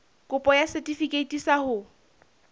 kopo ya setefikeiti sa ho